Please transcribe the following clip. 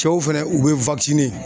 Cɛw fɛnɛ, u be